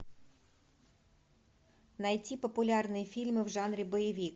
найти популярные фильмы в жанре боевик